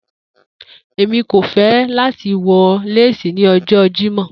Emi ko fẹ lati wọ lace ni ọjọ Jimọ